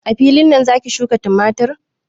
A filin nan zaki shuƙa tumatur?